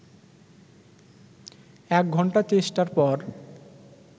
একঘণ্টা চেষ্টার পর